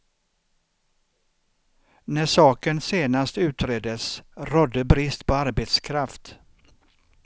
När saken senast utreddes rådde brist på arbetskraft.